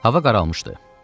Hava qaralmışdı.